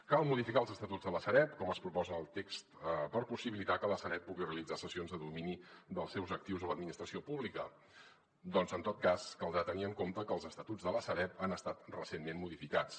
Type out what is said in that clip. cal modificar els estatuts de la sareb com es proposa en el text per possibilitar que la sareb pugui realitzar cessions de domini dels seus actius a l’administració pública doncs en tot cas caldrà tenir en compte que els estatuts de la sareb han estat recentment modificats